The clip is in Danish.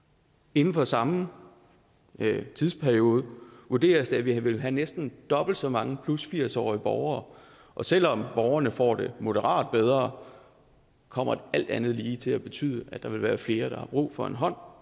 inden for samme tidsperiode vurderes det at vi vil have næsten dobbelt så mange 80 årige borgere og selv om borgerne får det moderat bedre kommer det alt andet lige til at betyde at der vil være flere der får brug for en hånd